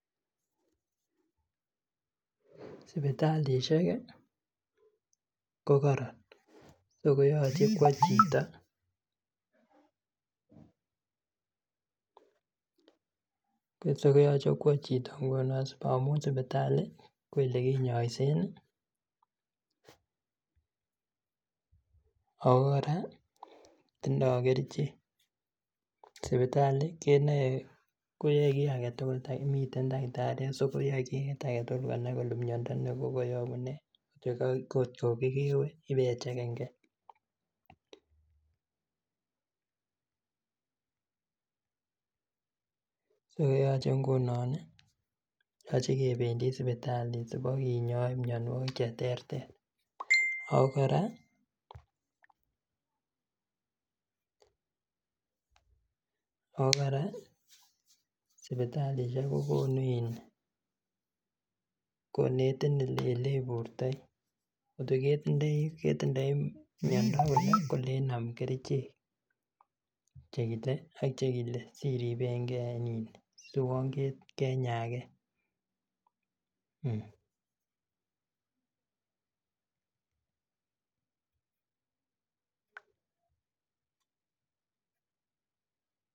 Sipitalisiek ih kokoron akoyoche kwo chito koyoche kwo chito ngunon amun sipitali ko elekinyoisen ih ako kora tindoo kerichek, sipitali kenoe koyoe kiy aketugul miten takitariek so koyoe kit age tugul konai kole miondo kokoyobu nee kotko kokewe ibechegen gee so koyeche ngunon ih yoche kebendi sipitali sibokinyoin mionwogik cheterter ako kora ako kora sipitalisiek ko konu in konetin eleburtoi kotko ketindoi miondo kole kolein nam kerichek chekile ak chekile siribengee si uon kenyaengee